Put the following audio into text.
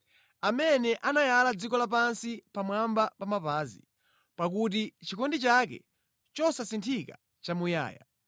Amene anayala dziko lapansi pamwamba pa madzi, pakuti chikondi chake chosasinthika nʼchamuyaya.